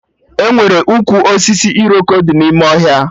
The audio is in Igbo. Enwere ụkwụ osisi Iroko dị n'ime ọhịa